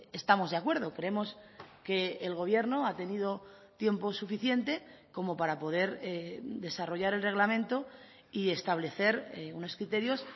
estamos de acuerdo creemos que el gobierno ha tenido tiempo suficiente como para poder desarrollar el reglamento y establecer unos criterios